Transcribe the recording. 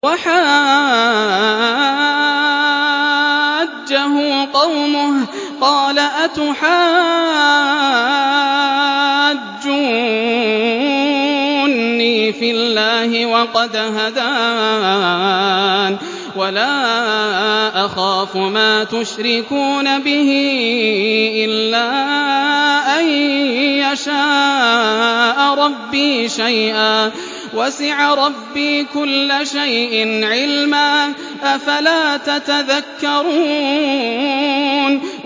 وَحَاجَّهُ قَوْمُهُ ۚ قَالَ أَتُحَاجُّونِّي فِي اللَّهِ وَقَدْ هَدَانِ ۚ وَلَا أَخَافُ مَا تُشْرِكُونَ بِهِ إِلَّا أَن يَشَاءَ رَبِّي شَيْئًا ۗ وَسِعَ رَبِّي كُلَّ شَيْءٍ عِلْمًا ۗ أَفَلَا تَتَذَكَّرُونَ